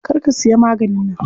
Kar ku siya maganin nan.